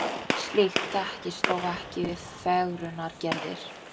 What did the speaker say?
slíkt þekkist þó ekki við fegrunaraðgerðir